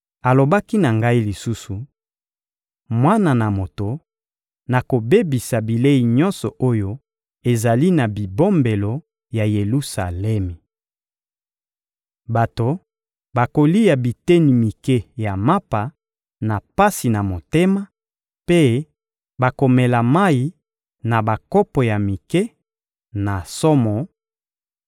Alobaki na ngai lisusu: — Mwana na moto, nakobebisa bilei nyonso oyo ezali na bibombelo ya Yelusalemi. Bato bakolia biteni mike ya mapa, na pasi na motema, mpe bakomela mayi na bakopo ya mike, na somo;